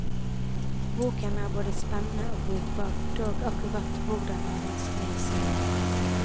Boken er både spennende og brukbar, dog akkurat hvordan er vanskelig å si.